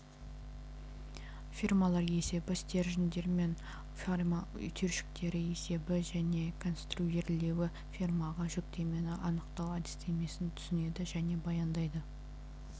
фермалар есебі стерженьдер мен ферма түйіршіктері есебі және конструирлеуі фермаға жүктемені анықтау әдістемесін түсінеді және баяндайды